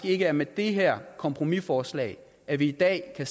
ikke er med det her kompromisforslag at vi i dag kan